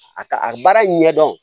A ka a baara ɲɛdɔn